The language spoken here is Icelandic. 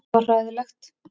Þetta var hræðilegt.